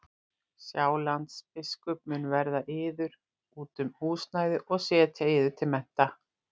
Sjálandsbiskup mun verða yður út um húsnæði og setja yður til mennta.